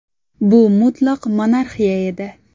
Bu mutlaq monarxiya edi.